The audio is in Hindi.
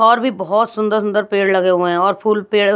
और भी बहुत सुंदर सुंदर पेड़ लगे हुए हैं और फूल पेड़ --